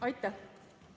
Aitäh!